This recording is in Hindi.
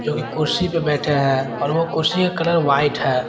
कोई कुर्सी पर बैठे हैं और ओ कुर्सी के कलर व्हाइट है।